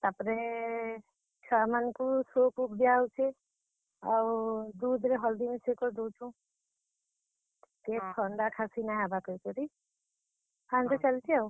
ତାପ୍ ରେ, ଛୁଆ ମାନ୍ ଙ୍କୁ soup ଫୁପ୍ ଦିଆ ହେଉଛେ। ଆଉ दूध ରେ ହଲ୍ ଦି ମିଶେଇ କି ଦଉଛୁଁ। ଟିକେ ଥଣ୍ଡା, ଖାସି ନାଇଁ ହେବା କହିକରି, ହେନ୍ତି ଚାଲିଛେ ଆଉ।